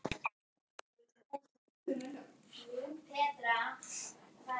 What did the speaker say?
Af hverju vill hún ekki lofa mér að ná sér?